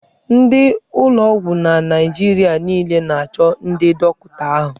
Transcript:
Ndị ụlọ ọgwụ na Naịjirịa niile na-achọ ndị dọkịta ahụ.